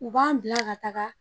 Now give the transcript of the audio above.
U b'an bila ka taga.